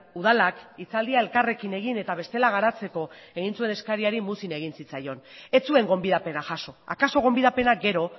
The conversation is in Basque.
udalak hitzaldia elkarrekin egin eta bestela garatzeko egin zuen eskariari muzin egin zitzaion ez zuen gonbidapena jaso akaso gonbidapena gero